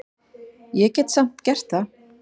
Ég hef samt gert það.